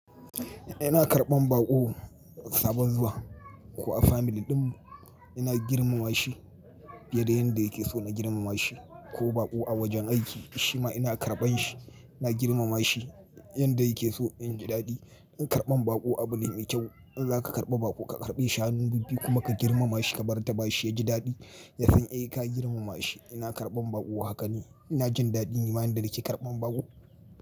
Ina karɓan baƙo sabon zuwa ko a family ɗinmu ina girmama shi, fiye da yanda yake so na girmama shi ko baƙo a wajen aiki shima ina karɓan shi ina girmama shi yanda yake so ya ji daɗi. In karɓan baƙo abu ne mai kyau. In za ka karɓa baƙo ka karɓe shi hannu bibbiyu kuma ka girmama shi, ka martabashi ya ji daɗi, ya san eh ka girmama shi. Ina karɓan baƙo, haka ne. Ina jin daɗi. Ni ma yanda nake karɓan baƙo.